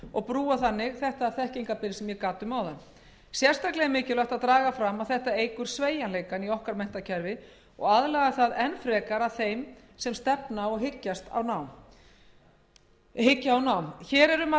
og brúa þannig svonefnt þekkingarbil á vinnumarkaðinum sérstaklega er mikilvægt að draga fram að þetta eykur sveigjanleikann í okkar menntakerfi og aðlagar það enn frekar að þeim sem stefna á nám hér er um að